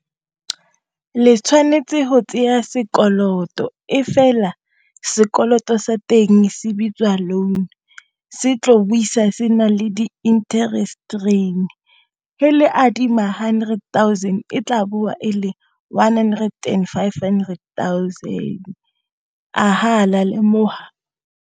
Le tshwanetse go tseya sekoloto e fela sekoloto sa teng se bitswang loan se tlo boisa se nang le di-interest adima hundred thousand e tla boa e le one-hundered and five-hundred and thousand a ha la lemoha.